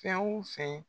Fɛn o fɛn